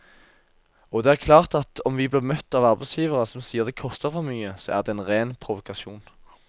Og det er klart at om vi blir møtt av arbeidsgivere som sier det koster for mye, så er det en ren provokasjon.